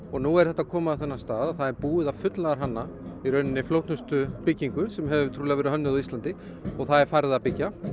og nú er þetta komið á þann stað að það er búið að fullnaðarhanna flóknustu byggingu sem hefur trúlega verið hönnuð á Íslandi og það er farið að byggja